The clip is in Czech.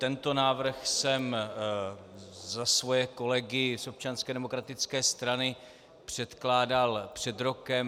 Tento návrh jsem za svoje kolegy z Občanské demokratické strany předkládal před rokem.